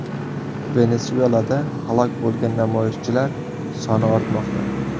Venesuelada halok bo‘lgan namoyishchilar soni ortmoqda.